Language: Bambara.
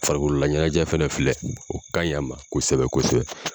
Farikololaɲɛnajɛ fana filɛ o ka ɲi a kosɛbɛ kosɛbɛ.